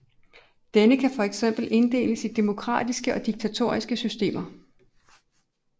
Denne kan fx inddeles i demokratiske og diktatoriske systemer